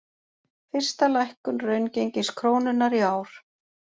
Fyrsta lækkun raungengis krónunnar í ár